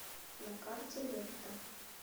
на карте летто